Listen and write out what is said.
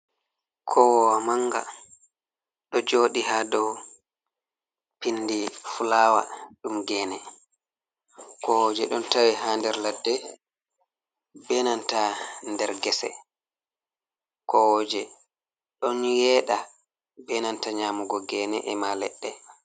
Kowowa manga ɗo joɗi ha dow pindi fulawa ɗum gene kowoje ɗon tawe ha nder ladde, be nanta nder gese kowoje ɗon yeɗa be nanta nyamugo gene e ma leɗɗe.